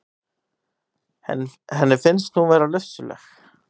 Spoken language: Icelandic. Henni finnst hún vera lufsuleg.